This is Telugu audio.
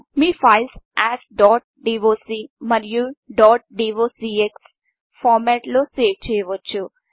మీ ఫైల్ను ఏఎస్ డాట్ డాక్ మరియు డాట్ డీఒసీఎక్స్ ఫార్మెట్లలో సేవ్ చేయవచ్చు